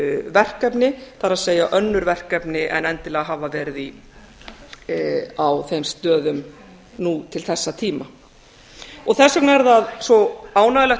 verkefni það er önnur verkefni en endilega hafa verið á þeim stöðum nú til þessa tíma þess vegna er það svo ánægjulegt við